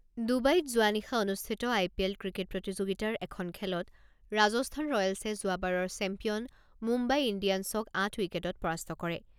ডুবাইত যোৱা নিশা অনুষ্ঠিত আই পি এল ক্ৰিকেট প্ৰতিযোগিতাৰ এখন খেলত ৰাজস্থান ৰয়েলছে যোৱাবাৰৰ চেম্পিয়ন মুম্বাই ইণ্ডিয়ানছক আঠ উইকেটত পৰাস্ত কৰে।